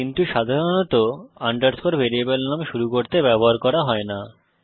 কিন্তু সাধারণত underscore variable নাম শুরু করতে ব্যবহার করা হয় না